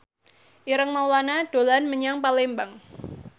Ireng Maulana dolan menyang Palembang